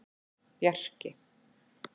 Bjarki